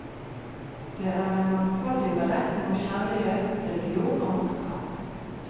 Det er en mangfoldig beretning om kjærlighet, religion og maktkamp.